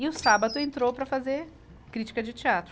E o sábado entrou para fazer crítica de teatro.